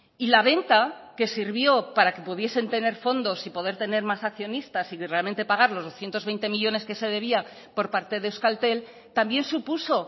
y la venta que sirvió para que pudiesen tener fondos y poder tener más accionistas y realmente pagar los doscientos veinte millónes que se debía por parte de euskaltel también supuso